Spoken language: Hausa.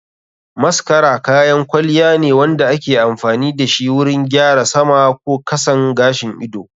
Mascara kayan kwalliya ne wanda ake amfani dashi wurin gyara sama ko kasan gashin ido.